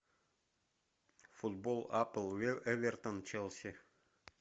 футбол апл эвертон челси